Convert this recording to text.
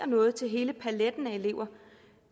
noget til hele paletten af elever